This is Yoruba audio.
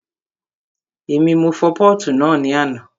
Èmi, mo fọ pọ́ọ̀tù náà ní àná